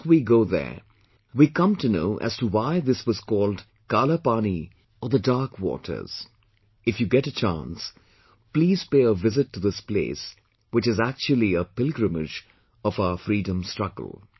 Once we go there We come to know as to why this was called Kaalaa Paani or the dark waters If you get a chance, please pay a visit to this place which is actually a pilgrimage of our freedom struggle